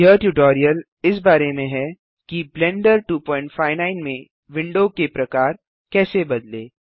यह ट्यूटोरियल इस बारे में है कि ब्लेंडर 259 में विंडो के प्रकार कैसे बदलें